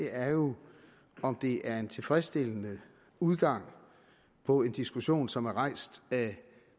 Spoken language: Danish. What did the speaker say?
er jo om det er en tilfredsstillende udgang på en diskussion som er rejst af